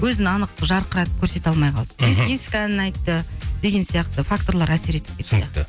өзін анық жарқыратып көрсете алмай қалды мхм ескі әнін айтты деген сияқты факторлар әсер етіп кетті түсінікті